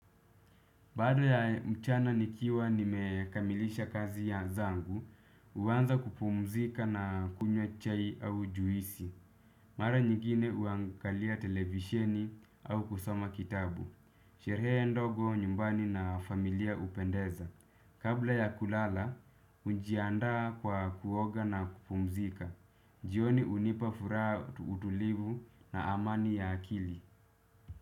Baada ya mchana nikiwa nimekamilisha kazi ya zangu, uwanza kupumzika na kunywa chai au juisi. Mara nyingine uangalia televisheni au kusoma kitabu. Shirehe ndogo nyumbani na familia upendeza. Kabla ya kulala, ujiandaa kwa kuoga na kupumzika. Jioni unipa furaha utulivu na amani ya akili.